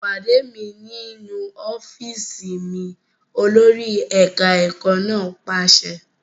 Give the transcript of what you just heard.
Pàdé mi nínú ọ́fíìsì mi! Olórí ẹ̀ka ẹ̀kọ́ náà pàṣẹ.